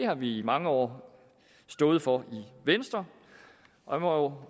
har vi i mange år stået for i venstre og